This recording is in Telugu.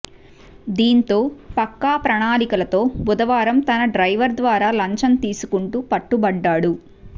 దీంతో పక్కా ప్రణాళికలతో బుధవారం తన డ్రైవర్ ద్వారా లంచం తీసుకుంటూ పట్టుబడ్డాడు